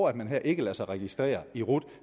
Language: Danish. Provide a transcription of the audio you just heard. at man ikke lader sig registrere i rut